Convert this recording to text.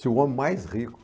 Se o homem mais rico